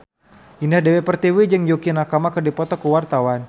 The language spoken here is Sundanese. Indah Dewi Pertiwi jeung Yukie Nakama keur dipoto ku wartawan